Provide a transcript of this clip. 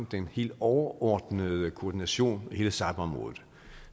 den helt overordnede koordination af hele cyberområdet